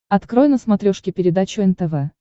открой на смотрешке передачу нтв